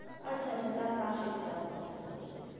আচ্ছা আচ্ছা তার পাশের টা